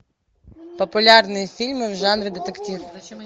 популярные фильмы в жанре детектив